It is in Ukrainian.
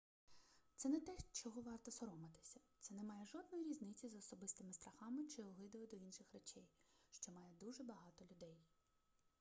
це не те чого варто соромитися це не має жодної різниці з особистими страхами чи огидою до інших речей що має дуже багато людей